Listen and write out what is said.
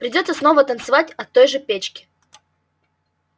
придётся снова танцевать от той же печки